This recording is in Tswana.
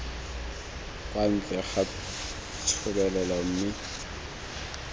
kwa ntle ga thebolelo mme